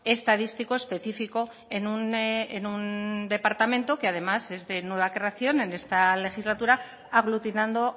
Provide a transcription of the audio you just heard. estadístico específico en un departamento que además es de nueva creación en esta legislatura aglutinando